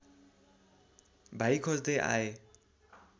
भाइ खोज्दै आए